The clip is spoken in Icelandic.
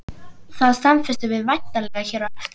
Það staðfestum við væntanlega hér á eftir?